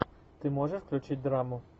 ты можешь включить драму